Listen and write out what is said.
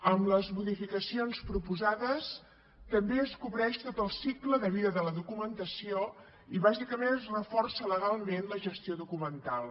amb les modificacions proposades també es cobreix tot el cicle de vida de la documentació i bàsicament es reforça legalment la gestió documental